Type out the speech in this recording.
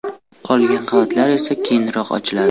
Qolgan qavatlar esa keyinroq ochiladi.